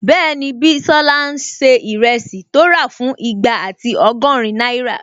Bẹ́ẹ̀ni, Bísọ́lá n ṣe ìrẹsì tó rà fún igba ati ọgọ́rin náírà